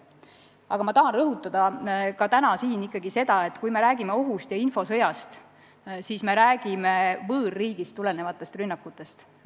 Aga ma tahan ikkagi ka täna siin rõhutada, et kui me räägime ohust ja infosõjast, siis me räägime võõrriigist lähtuvatest rünnakutest.